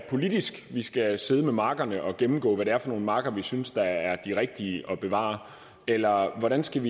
det politisk vi skal sidde med markerne og gennemgå hvad det er for nogle marker vi synes der er de rigtige at bevare eller hvordan skal